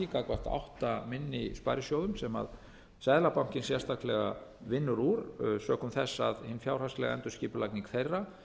gagnvart átta minni sparisjóðum sem seðlabankinn sérstaklega vinnur úr sökum þess að hin fjárhagslega endurskipulagning þeirra